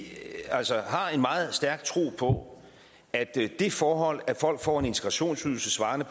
har en meget stærk tro på at det forhold at folk får en integrationsydelse svarende